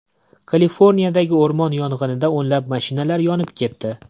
Kaliforniyadagi o‘rmon yong‘inida o‘nlab mashinalar yonib ketdi.